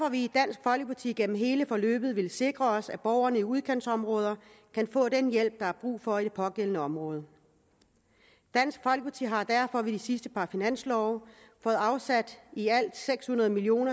vi i dansk folkeparti gennem hele forløbet villet sikre os at borgerne i udkantsområderne kan få den hjælp der er brug for i det pågældende område dansk folkeparti har derfor ved det sidste par finanslove fået afsat i alt seks hundrede million